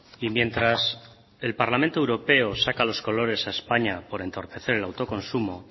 y mientras el parlamento europeo saca los colores a españa por entorpecer el autoconsumo